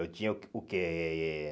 Eu tinha o o quê?